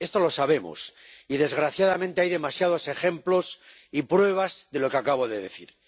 Esto lo sabemos, y desgraciadamente hay demasiados ejemplos y pruebas de lo que acabo de decir.